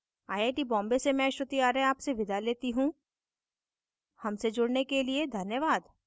I I T Bombay से मैं श्रुति आर्य आपसे विदा लेती हूँ हमसे जुड़ने के लिए धन्यवाद